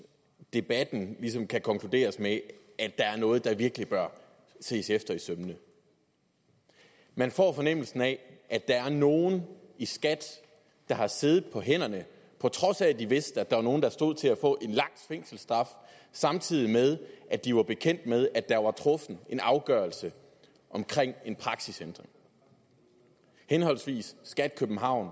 debatten ligesom kan konkluderes med at der er noget der virkelig bør ses efter i sømmene man får fornemmelsen af at der er nogen i skat der har siddet på hænderne på trods af de vidste der var nogen der stod til at få en lang fængselsstraf samtidig med at de var bekendt med at der var blevet truffet en afgørelse om en praksisændring henholdsvis skat københavn